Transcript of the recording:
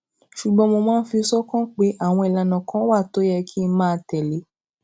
ṣùgbón mo máa ń fi sókàn pé àwọn ìlànà kan wà tó yẹ kí n máa tèlé